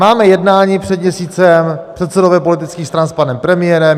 Máme jednání před měsícem, předsedové politických stran s panem premiérem.